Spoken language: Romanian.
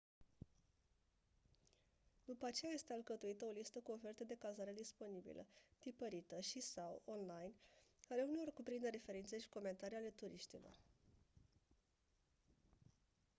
după aceea este alcătuită o listă cu oferte de cazare disponibile tipărită și/sau online care uneori cuprinde referințe și comentarii ale turiștilor